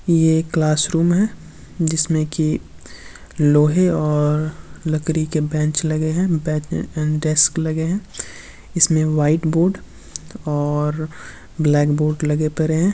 ये एक क्लासरूम है जिसमें कि लोहे और लकड़ी के बेंच लगे हैं डेस्क लगे हैं। इसमें व्हाइट बोर्ड और ब्लैक बोर्ड लगे पड़े है।